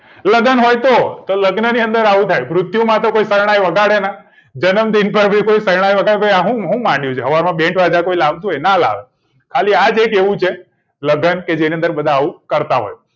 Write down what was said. લગન હોય તો લગ્નની અંદર આવું થાય મુર્ત્યું ની અંદર કોઈ શરણાઈ વગાડે ના જન્મદિવસ પર કોઈ શરણાઈ વગાડે ના આબધુ શું માંડ્યું છે સવારમાં બેન્ડવાજા લાવતું હોય ના લાવે ખાલી આ જ એક એવું છે લગન કે જેની અંદર બધા આવું કરતા હોય